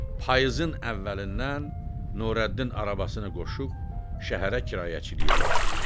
Payızın əvvəlindən Nurəddin arabasını qoşub şəhərə kirayəçiliyə getdi.